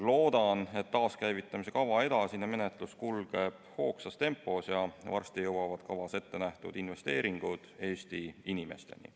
Loodan, et taaskäivitamise kava edasine menetlus kulgeb hoogsas tempos ja varsti jõuavad kavas ettenähtud investeeringud Eesti inimesteni.